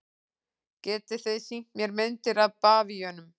Getið þið sýnt mér myndir af bavíönum?